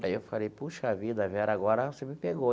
Aí eu falei, puxa vida, Vera, agora você me pegou.